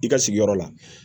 I ka sigiyɔrɔ la